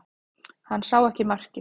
Hann sá ekki markið